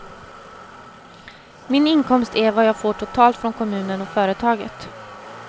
Min inkomst är vad jag får totalt från kommunen och företaget.